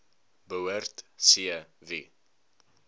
behoort c wie